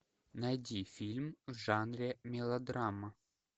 найди фильм в жанре мелодрама